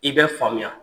I bɛ faamuya